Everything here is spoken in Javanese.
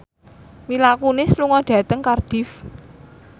Mila Kunis lunga dhateng Cardiff